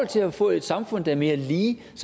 til at få et samfund der er mere lige